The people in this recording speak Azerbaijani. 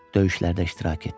Döyüşlərdə iştirak etdi.